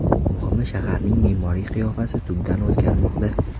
Muhimi, shaharning me’moriy qiyofasi tubdan o‘zgarmoqda.